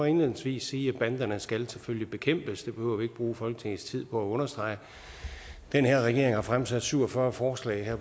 indledningsvis sige at banderne selvfølgelig skal bekæmpes det behøver vi ikke bruge folketingets tid på at understrege den her regering har fremsat syv og fyrre forslag her